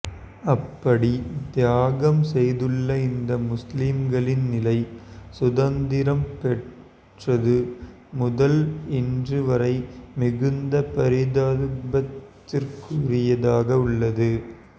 அப்படி தியாகம் செய்துள்ள இந்த முஸ்லிம்களின் நிலை சுதந்திரம் பெற்றது முதல் இன்று வரை மிகுந்த பரிதாபத்திற்குரியதாக உள்ளது